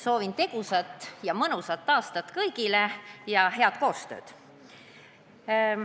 Soovin kõigile tegusat ja mõnusat aastat ja head koostööd!